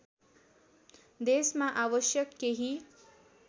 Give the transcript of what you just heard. देशमा आवश्यक केही